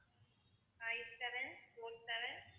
five seven four seven